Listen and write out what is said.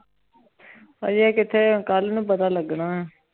ਹਾਜੀ ਕਿਥੇ ਕਲ ਨੂ ਪਤਾ ਲਗਨਾ